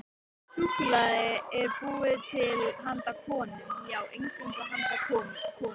Súkkulaði er búið til handa konum, já, eingöngu handa konum.